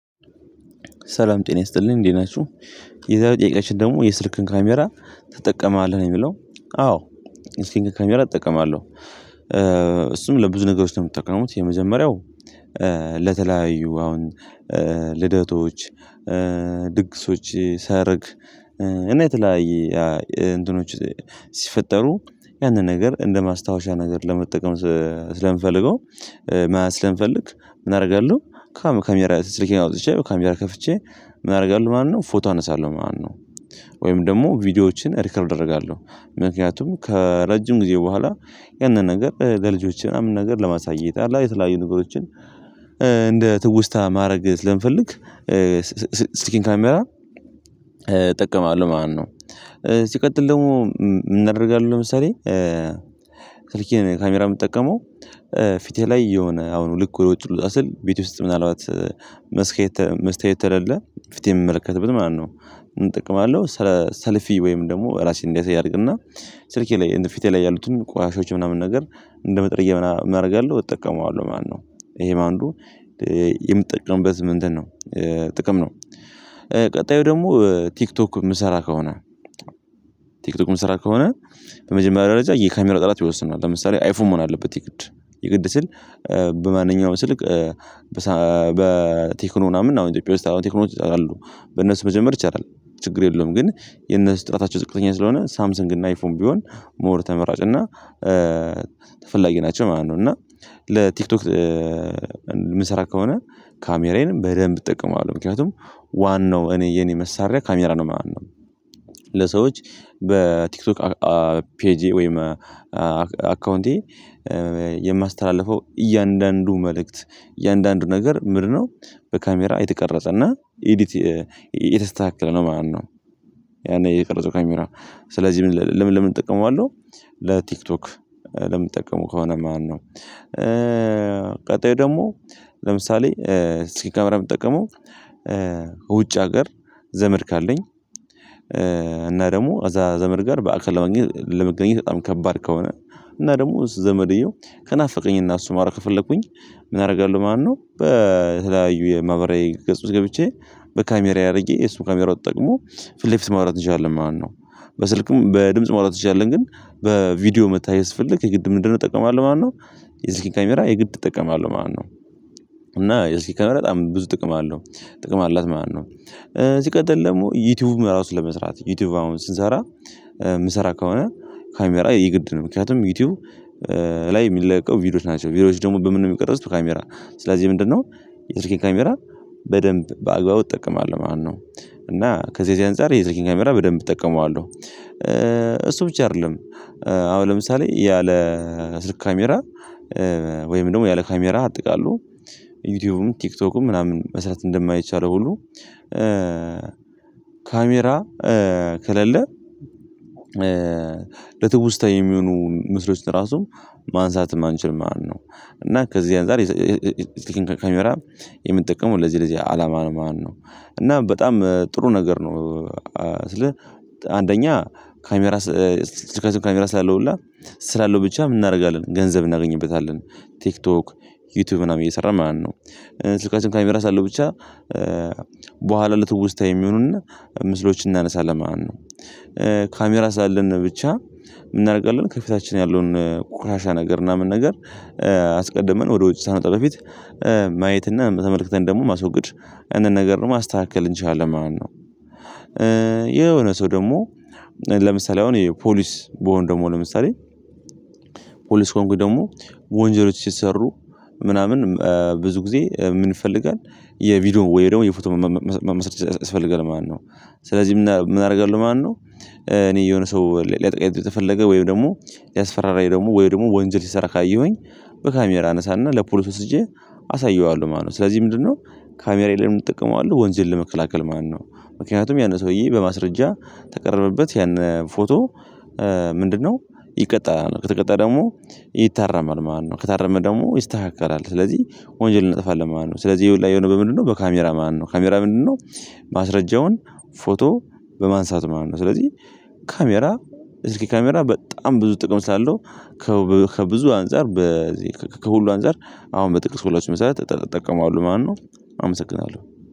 ሰላም ጤና ይስጥልኝ እንዴት ናችሁ የዛሬው ጥያቄያችን ደግሞ የስልክን ካሜራ ትጠቀማለህ? ነው የሚለው አዎ የስልክን ካሜራ እጠቀማለሁ እሱም ለብዙ ነገሮች ነው የምትጠቀመው የመጀመሪያው ለተለያዩ አሁን ልደቶች ድግሶች ሰርግ እና የተለያየ እንትኖች ሲፈጠሩ ያንን ነገር እንደማስታወሻ ነገር ለመጠቀም ስለምፈልገው ስለምፈልግ ምን አደርጋለሁ ካሜራ ስልኬን አውጥቼ ካሜራ ከፍቼ ምን አደርጋለሁ ማለት ነው ፎቶ አነሳለሁ ማለት ነው ወይም ደግሞ ቪዲዮዎችን ሪከርድ አደርጋለሁ ምክንያቱም ከረጅም ጊዜ በኋላ ያንን ነገር ለልጆቼ ምናምን ነገር ለማሳየት አለ አ የተለያዩ ነገሮችን ትውስታ ማድረግ ስለምፈልግ የስልኬን ካሜራ እጠቀማለሁ ማለት ነው። ሲቀጥል ደግሞ ምን አደርጋለው ለምሳሌ ስልኬን ካሜራ የምጠቀመው ፊቴ ላይ የሆነ አሁን ልክ ወደ ውጭ ልወጣ ስል ቤቴ ውስጥ ምናልባት መስታየት ተሌለ ፊቴን የምመለከትበት ማለት ነው ምን እጠቀማለው ሰልፊ ወይም ደግሞ ራሴን እንዲያሳይ አድርግና ስልኬ ላይ ፊቴ ላይ ያሉትን ቆሻሾች ምናምን ነገር እንደ መጥረጊያ ምና አረጋለው እጠቀመዋለሁ ማለት ነው ይሄ ነው አንዱ የምትጠቀምበት ምንድነው ጥቅም ነው ቀጣዩ ደግሞ ቲክቶክ የምሰራ ከሆነ ቲክቶክ የምሰራ ከሆነ በመጀመሪያ ደረጃ የካሜራ ጥራት ይወስነዋል ለምሳሌ አይፎን መሆን አለበት የግድ የግድ ስል በማንኛውም ስልክ በቴክኖ ምናምን አሁን ኢትዮጵያ ውስጥ ቴክኖዎች አሉ በነሱ መጀመር ይቻላል ችግር የለውም ግን የነሱ ጥራታቸው ዝቅተኛ ስለሆነ ሳምሰንግ እና አይፎን ቢሆን ሞር ተመራጭ እና ተፈላጊ ናቸው ማለት ነው እና ለቲክቶክ የምሰራ ከሆነ ካሜራዬን በደንብ እጠቀማለሁ ምክንያቱም ዋናው እኔ የኔ መሳሪያ ካሜራ ነው ማለት ነው ለሰዎች በቲክቶክ ፔጄ ወይም አካውንቴ የማስተላልፈው እያንዳንዱ መልእክት እያንዳንዱ ነገር ምንድነው በካሜራ የተቀረጸና ኤዲት የተስተካከለ ነው ማለት ነው ያኔ የቀረጸው ካሜራ ስለዚህ ለምን ለምን እጠቀመዋለሁ ለቲክቶክ ለምጠቀመው ከሆነ ማለት ነው ቀጣዩ ደግሞ ለምሳሌ የስልክ ካሜራ የምጠቀመው በውጭ ሀገር ዘመድ ካለኝ እና ደግሞ እዛ ዘመድ ጋር በአካል ለማግኘት ለመገናኘት በጣም ከባድ ከሆነ እና ደግሞ ዘመድየው ከናፈቀኝና እሱን ማውራት ከፈለኩኝ ምን አደርጋለሁ ማለት ነው በተለያዩ የማህበራዊ ገጽ ውስጥ ገብቼ በካሜራዬ አድርጌ እሱም ካሜራውን ተጠቅሞ ፊት ለፊት ማውራት እንችላለን ማለት ነው በስልክም በድምጽ ማውራት እንችላለን ግን በቪዲዮ መተያየት ስፈልግ የግድ ምን እጠቀማለሁ ማለት ነው የስልክን ካሜራ የግድ እጠቀማለሁ ማለት ነው እና የስልኬን ካሜራ በጣም ብዙ ጥቅም አለው ጥቅም አላት ማለት ነው ሲቀጥል ደግሞ ዩቲዩብ ራሱ ለመስራት ዩቲዩብ አሁን ስንሰራ የምሰራ ከሆነ ካሜራ የግድ ነው ምክንያቱም ዩቲዩብ ላይ የምንለቀው ቪዲዮዎች ናቸው ቪዲዮዎች ደግሞ በምንድነው የሚቀረጽው በካሜራ ስለዚህ ምንድነው የስልኬን ካሜራ በደንብ በአግባቡ እጠቀማለሁ ማለት ነው እና ከዚህ ከዚህ አንፃር የስልኬን ካሜራ በደንብ እጠቀመዋለሁ እሱ ብቻ አይደለም አሁን ለምሳሌ ያለ ስልክ ካሜራ ወይም ደግሞ ያለ ካሜራ አጠቃሎ ዩቲዩብም ቲክቶክም ምናምን መስራት እንደማይቻል ሁሉ ካሜራ ከሌለ ለትውስታ የሚሆኑ ምስሎች ራሱ ማንሳትም አንችልም ማለት ነው እና ከዚህ አንፃር ካሜራ የምንጠቀመው ለዚህ ለዚህ አላማ ነው ማለት ነው እና በጣም ጥሩ ነገር ነው ስልህ አንደኛ ካሜራ ስልካችን ካሜራ ስላለው ብቻ ስላለው ብቻ ምን እናደርጋለን ገንዘብ እናገኝበታለን ቲክቶክ ዩቲዩብ ምናምን እየሰራን ማለት ነው ስልካችን ካሜራ ስላለው ብቻ በኋላ ለትውስታ የሚሆኑንና ምስሎችን እናነሳለን ማለት ነው ካሜራ ስላለን ብቻ ምን እናደርጋለን ከፊታችን ያለውን ቁሻሻ ነገር ምናምን ነገር አስቀድመን ወደ ውጭ ሳንወጣ በፊት ማየት እና ተመልክተን ደግሞ ማስወገድ ያንን ነገር ደግሞ ማስተካከል እንችላለን ማለት ነው የሆነ ሰው ደግሞ ለምሳሌ አሁን ፖሊስ ብሆን ደግሞ ለምሳሌ ፖሊስ ከሆንኩኝ ደግሞ ወንጀሎች ሲሰሩ ምናምን ብዙ ጊዜ ምን ይፈልጋል የቪዲዮ ወይ ደግሞ የፎቶ ማስረጃ ያስፈልጋል ማለት ነው ስለዚህ ምን አደርጋለሁ ማለት ነው እኔ የሆነ ሰው ሊያጠቃኝ ከፈለገ ወይም ደግሞ ሊያስፈራራኝ ደግሞ ወይም ደግሞ ወንጀል ሲሰራ ካየሁኝ በካሜራ አነሳና ለፖሊስ ወስጄ አሳየዋለሁ ማለት ነው ስለዚህ ምንድነው ካሜራዬን ለምን እጠቀመዋለው ወንጀል ለመከላከል ማለት ነው ምክንያቱም ያንን ሰውዬ በማስረጃ ከቀረበበት ያን ፎቶ ምንድነው ይቀጣል ከተቀጣ ደግሞ ይታረማል ማለት ነው ከታረመ ደግሞ ይስተካከላል ስለዚህ ወንጀል እናጠፋለን ማለት ነው ስለዚህ ይሄ ሁላ የሆነው በምንድነው በካሜራ ማለት ነው ካሜራ ምንድነው ማስረጃውን ፎቶ በማንሳት ማለት ነው ስለዚህ ካሜራ እስኪ ካሜራ በጣም ብዙ ጥቅም ስላለው ከብዙ አንፃር ከሁሉ አንፃር አሁን በጠቀስኩላችሁ መሰረት እጠቀመዋለው ማለት ነው አመሰግናለሁ።